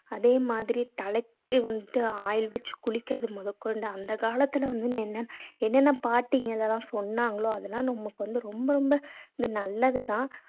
அதே மாதிரி தலைக்கு வந்து oil வச்சு குளிக்கிறது முதற்கொண்டு அந்த காலத்துல வந்து என்னென்ன பாட்டிங்கெல்லாம் சொன்னாங்களோ அதெல்லாம் நமக்கு வந்து ரொம்ப ரொம்ப இது நல்லதுதான்